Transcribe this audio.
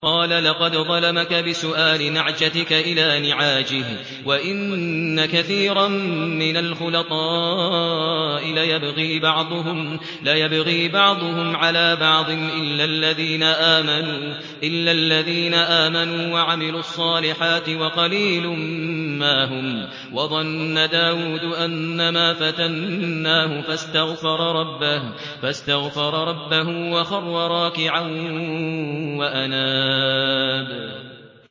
قَالَ لَقَدْ ظَلَمَكَ بِسُؤَالِ نَعْجَتِكَ إِلَىٰ نِعَاجِهِ ۖ وَإِنَّ كَثِيرًا مِّنَ الْخُلَطَاءِ لَيَبْغِي بَعْضُهُمْ عَلَىٰ بَعْضٍ إِلَّا الَّذِينَ آمَنُوا وَعَمِلُوا الصَّالِحَاتِ وَقَلِيلٌ مَّا هُمْ ۗ وَظَنَّ دَاوُودُ أَنَّمَا فَتَنَّاهُ فَاسْتَغْفَرَ رَبَّهُ وَخَرَّ رَاكِعًا وَأَنَابَ ۩